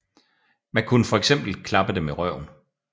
Man kunne fx klappe dem i røven